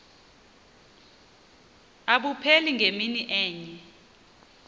abupheli ngemini enye